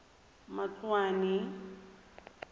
matloane